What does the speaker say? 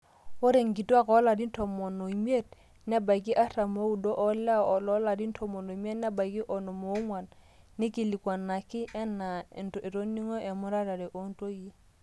ore inkutuaak oolarin tomon oimiet nebaiki artam ooudo olewa loolarin tomon oimiet nebaiki onom oong'wan neikilikuanuaki enaa etoning'o emuratare oontoyie